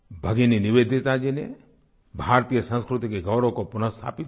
भगिनी निवेदिता जी ने भारतीय संस्कृति के गौरव को पुनः स्थापित किया